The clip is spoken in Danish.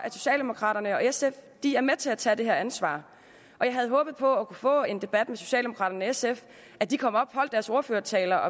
socialdemokraterne og sf for at de er med til at tage det her ansvar og jeg havde håbet på at kunne få en debat med socialdemokraterne og sf at de kom op og holdt deres ordførertaler